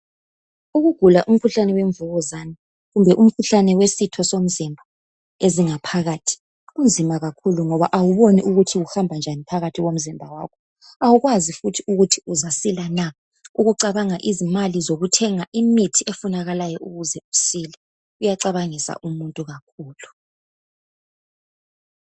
Ukugula umkhuhlane wemvukuzane kumbe umkhuhlane wesitho somzimba ezingaphakathi kunzima kakhulu ngoba awuboni ukuthi kuhamba njani phakathi komzimba wakho awukwazi futhi ukuthi uzasila na ukucabanga imali yokuthenga imithi efunekalayo ukuze usile kuyacabangisa umuntu kakhulu.